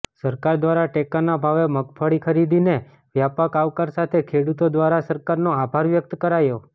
સરકાર દ્વારા ટેકાના ભાવે મગફળી ખરીદીને વ્યાપક આવકાર સાથે ખેડૂતો દ્વારા સરકારનો આભાર વ્યક્ત કરાયો